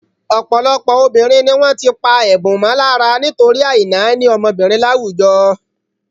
Ọ̀pọ̀lọpọ̀ ọmọbìnrin ni wọ́n ti pá ẹ̀bùn mọ́ lára nítorí àìnáání ọmọbìnrin láwùjọ.